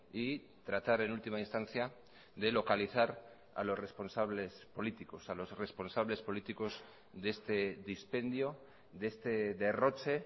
y tratar en última instancia de localizar a los responsables políticos a los responsables políticos de este dispendio de este derroche